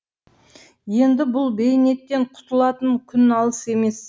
енді бұл бейнеттен құтылатын күн алыс емес